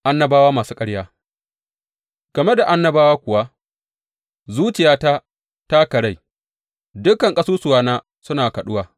Annabawa masu ƙarya Game da annabawa kuwa, Zuciyata ta karai; dukan ƙasusuwana suna kaɗuwa.